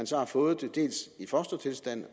så har fået det dels i fostertilstand